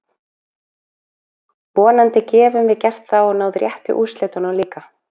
Vonandi gefum við gert það og náð réttu úrslitunum líka.